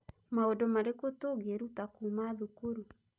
Maũndũ marĩkũ tũngĩruta kuuma thukuru.